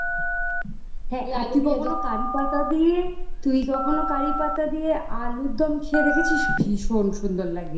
হ্যাঁ তুই কখনো কারিপাতা দিয়ে তুই কখনো কারিপাতা দিয়ে আলুরদম খেয়ে দেখেছিস ভীষণ সুন্দর লাগে